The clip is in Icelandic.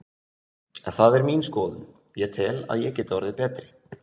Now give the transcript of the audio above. Það er mín skoðun, ég tel að ég geti orðið betri.